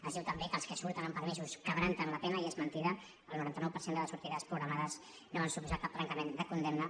es diu també que els que surten amb permisos trenquen la pena i és mentida el noranta nou per cent de les sortides programades no van suposar cap trencament de condemna